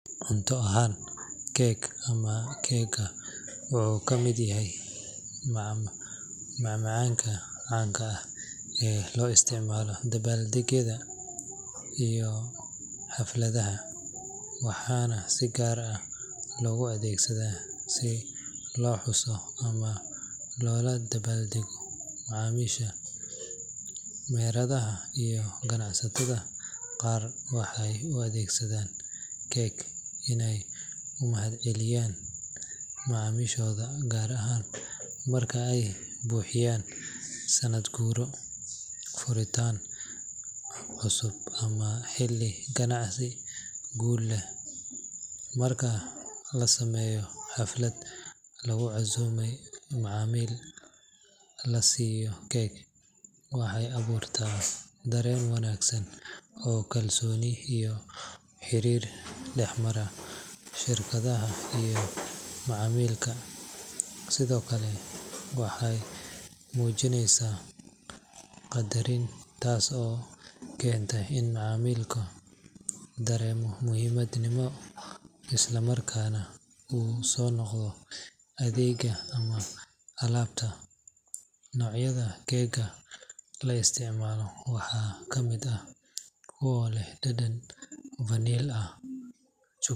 Cunto ahaan, cake ama keega wuxuu ka mid yahay macmacaanka caanka ah ee loo isticmaalo dabaaldegyada iyo xafladaha, waxaana si gaar ah loogu adeegsadaa si loo xuso ama loola dabaaldego macaamiisha. Meheradaha iyo ganacsatada qaar waxay u adeegsadaan cake inay u mahadceliyaan macaamiishooda, gaar ahaan marka ay buuxiyaan sannad guuro, furitaan cusub ama xilli ganacsi guul leh. Marka la sameeyo xaflad lagu casuumay macaamiil, la siiyo cake waxay abuurtaa dareen wanaagsan oo kalsooni iyo xiriir dhexmara shirkadda iyo macaamilka. Sidoo kale, waxay muujinaysaa qadarin, taas oo keenta in macaamilka dareemo muhiimnimo isla markaana u soo noqdo adeegga ama alaabta. Noocyada keega la isticmaalo waxaa kamid ah kuwa leh dhadhan vanil ah.